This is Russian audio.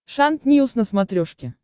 шант ньюс на смотрешке